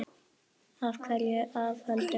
Af hverju þú af öllum?